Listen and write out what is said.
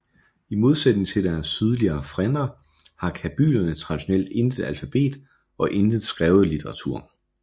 I modsætning til deres sydligere frænder har kabylerne traditionelt intet alfabet og ingen skrevet literatur